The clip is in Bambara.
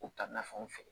U ka na fɛnw feere